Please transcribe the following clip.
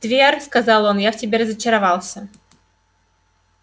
твер сказал он я в тебе разочаровался